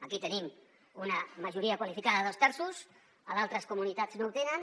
aquí tenim una majoria qualificada de dos terços a d’altres comunitats no ho te nen